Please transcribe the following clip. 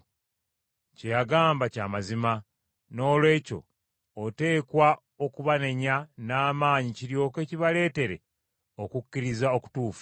Kye yagamba kya mazima. Noolwekyo oteekwa okubanenya n’amaanyi kiryoke kibaleetere okukkiriza okutuufu,